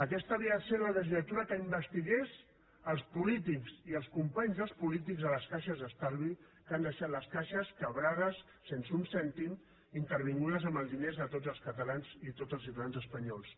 aquesta havia de ser la legislatura que investigués els polítics i els companys dels polítics a les caixes d’estalvi que han deixat les caixes en fallida sense un cèntim intervingudes amb els diners de tots els catalans i de tots els ciutadans espanyols